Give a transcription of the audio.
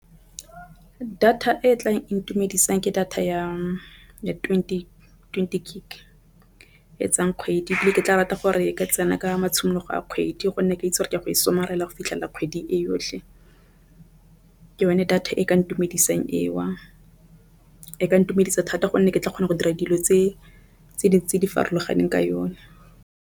Data e tla itumedisang ke data ya twenty, twenty gig etsang kgwedi ebile ke tla rata gore ka tsena ka matshimologo a kgwedi gonne ke itse gore ke ya go go fitlhelela kgwedi e yotlhe ke yone data e ka ntumedisang eo. E ka ntumedisa thata gonne ke tla kgona go dira dilo tse di farologaneng ka yone.